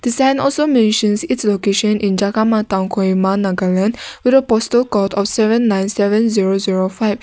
sign also mentioned it's location in jagama town kohima nagaland with a postal code of seven nine seven zero zero five.